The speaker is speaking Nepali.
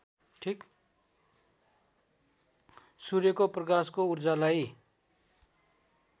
सूर्यका प्रकाशको ऊर्जालाई